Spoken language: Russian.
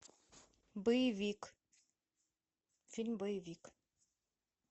боевик фильм боевик